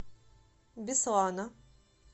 беслана